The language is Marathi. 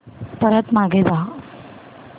परत मागे जा